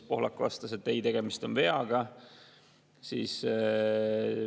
Pohlak vastas, et ei, tegemist on veaga.